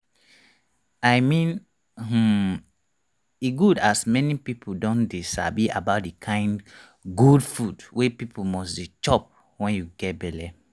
i meanhmmm e good as many people don dey sabi about the kind good food wey people must dey chop when you get belle